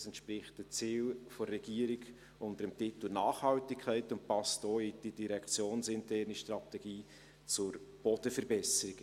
Es entspricht den Zielen der Regierung unter dem Titel Nachhaltigkeit und passt auch in die direktionsinterne Strategie zur Bodenverbesserung.